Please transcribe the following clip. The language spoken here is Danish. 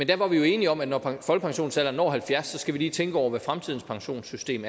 der var vi jo enige om at når folkepensionsalderen når halvfjerds så skal vi lige tænke over hvordan fremtidens pensionssystem